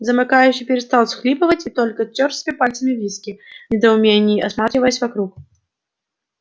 замыкающий перестал всхлипывать и только тёр себе пальцами виски в недоумении осматриваясь вокруг